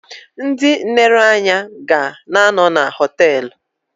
Ndị nlereanya ga na-anọ na họtelụ.